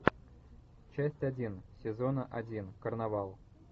часть один сезона один карнавал